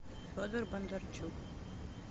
федор бондарчук